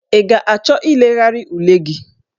Ị ga-achọ ilegharị ule gị?